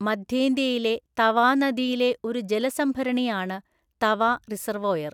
മദ്ധ്യേന്ത്യയിലെ തവാ നദിയിലെ ഒരു ജലസംഭരണിയാണ് തവ റിസർവോയർ.